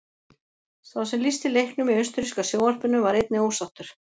Sá sem lýsti leiknum í austurríska sjónvarpinu var einnig ósáttur.